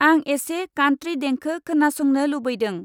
आं एसे कान्त्रि देंखो खोनासंनो लुबैदों।